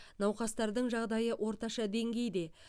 науқастардың жағдайы орташа деңгейде